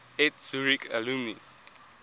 eth zurich alumni